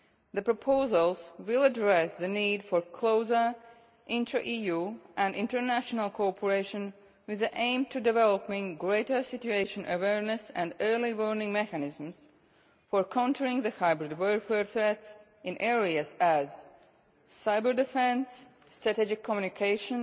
The proposals will address the need for closer intra EU and international cooperation with the aim of developing greater situational awareness and early warning mechanisms for countering the hybrid warfare threats in areas such as cyber defence, strategic communications,